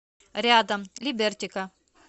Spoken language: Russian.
рядом либертика